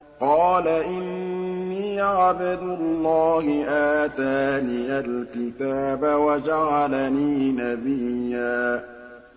قَالَ إِنِّي عَبْدُ اللَّهِ آتَانِيَ الْكِتَابَ وَجَعَلَنِي نَبِيًّا